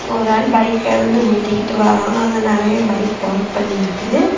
ஒருஆளு பைக்க வந்து உருட்டிகிட்டு வாறான் அங்க நிறைய பைக் பார்க் பண்ணி இருக்கு.